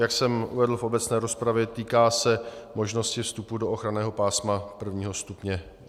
Jak jsem uvedl v obecné rozpravě, týká se možnosti vstupu do ochranného pásma I. stupně.